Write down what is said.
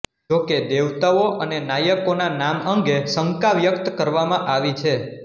જોકે દેવતાઓ અને નાયકોના નામ અંગે શંકા વ્યક્ત કરવામાં આવી છે